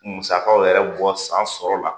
Musakaw yɛrɛ bɔ san sɔrɔla.